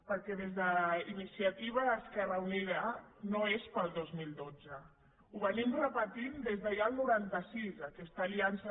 perquè des d’iniciativa esquerra unida no és per al dos mil dotze ho estem repetint ja des del noranta sis aquesta aliança